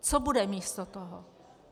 Co bude místo toho?